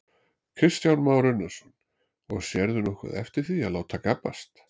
Kristján Már Unnarsson: Og sérðu nokkuð eftir því að láta gabbast?